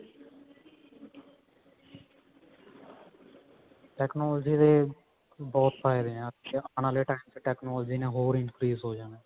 technology ਦੇ ਬਹੁਤ ਫਾਇਦੇ ਨੇ ਆਉਣ ਵਾਲੇ time ਚ technology ਨੇ ਹੋਰ increase ਹੋ ਜਾਣਾ